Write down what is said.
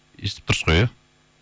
естіп тұрсыз ғой иә